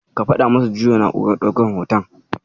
Ka faɗa masa ya juya na'urar ɗaukan hoton.